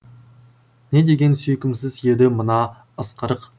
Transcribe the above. не деген сүйкімсіз еді мына ысқырық